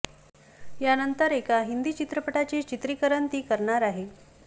यानंतर एका हिंदी चित्रपटाचे चित्रीकरण ती करणार आहे